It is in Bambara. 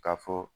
Ka fɔ